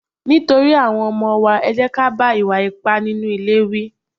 Nítorí àwọn ọmọ wa, ẹ jẹ́ ká bá ìwà ipá nínú ilé wí.